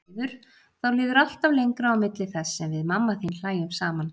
Því miður, þá líður alltaf lengra á milli þess sem við mamma þín hlæjum saman.